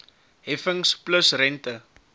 heffings plus rente